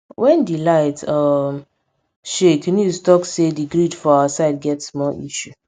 wen di light um shake news talk say di grid for our side get small issue